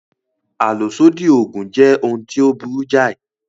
Àlòsódì Ògùn jẹ́ ohun tí ó burú jáì